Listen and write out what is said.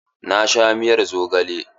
Na sha miyar zogale.